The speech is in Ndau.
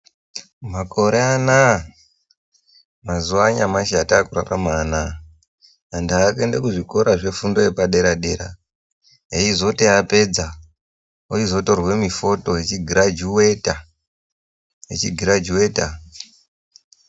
Makore anaa mazuwa anyamashi atakurarama anaa vantu vakuenda kuzvikora zvefundo yepadera dera eizoti apedza achizotorwa mifoto echigirajuweta achigirajuweta.